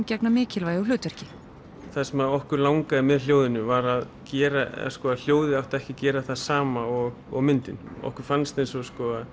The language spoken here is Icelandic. gegna mikilvægu hlutverki það sem okkur langaði með hljóðinu var að gera að hljóðið átti ekki að gera það sama og og myndin okkur fannst eins og